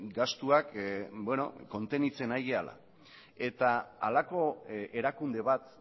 gastuak kontenitzen ari garela eta halako erakunde bat